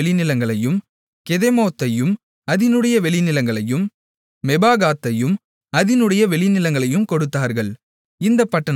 கெதெமோத்தையும் அதினுடைய வெளிநிலங்களையும் மெபாகாத்தையும் அதினுடைய வெளிநிலங்களையும் கொடுத்தார்கள் இந்தப் பட்டணங்கள் நான்கு